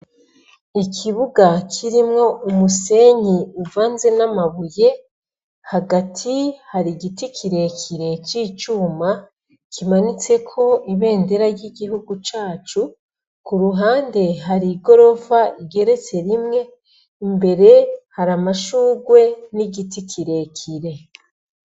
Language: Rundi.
Ikibuga kirimwo umusenyi uvanze n'amabuye hagati hari igiti kirekire c'icuma kimanitse ko ibendera y'igihugu cacu ku ruhande hari i gorofa igeretse rimwe imbere hari amashurwe n'igiti icirekire.